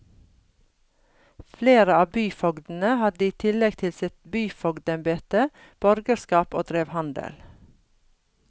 Flere av byfogdene hadde i tillegg til sitt byfogdembete borgerskap og drev handel.